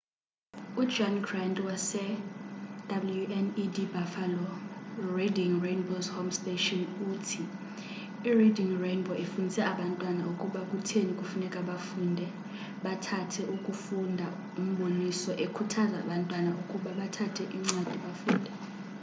u -john grant wase-wned buffalo reading rainbow's home station uthi : i-reading rainbow ifundise abantwana ukuba kutheni kufuneka bafunde, bathande ukufunda-[umboniso] ekhuthaza abantwana ukuba bathabathe incwadi bafunde.